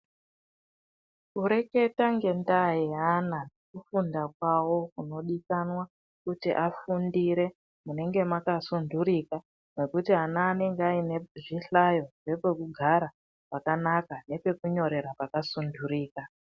Kureketa ngendaa yeana kufunda kwawo kunodikanwa kuti afundire munenge makasundurika mekuti ana anenge aine zvihlayo nepekugara pakanaka nepekunyorera pakasundurika.